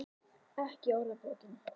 Ekki í orðabókinni.